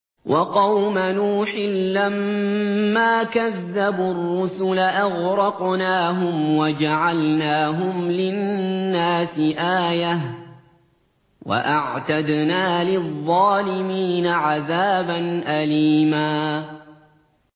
وَقَوْمَ نُوحٍ لَّمَّا كَذَّبُوا الرُّسُلَ أَغْرَقْنَاهُمْ وَجَعَلْنَاهُمْ لِلنَّاسِ آيَةً ۖ وَأَعْتَدْنَا لِلظَّالِمِينَ عَذَابًا أَلِيمًا